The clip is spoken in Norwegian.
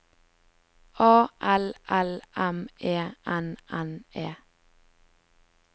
A L L M E N N E